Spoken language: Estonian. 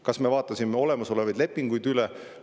Kas me vaatasime olemasolevaid lepinguid üle?